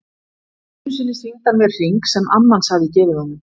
Einu sinni sýndi hann mér hring sem amma hans hafði gefið honum.